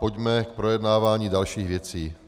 Pojďme k projednávání dalších věcí.